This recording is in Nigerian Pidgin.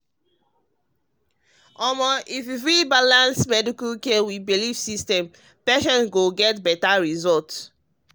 omo if we fit balance medical care with belief systems patients go get better result.